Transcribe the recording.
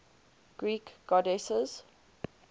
greek goddesses